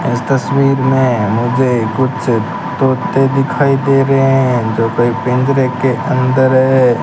इस तस्वीर में मुझे कुछ तोते दिखाई दे रहे हैं जो कोई पिंजरे के अंदर है।